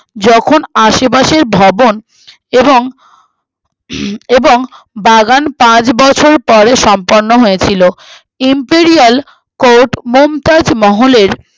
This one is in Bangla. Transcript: যখন আশেপাশের ভবন এবং এবং বাগান পাঁচ বছর পরে সম্পন্ন হয়েছিলো Imperial court মমতাজ মহলের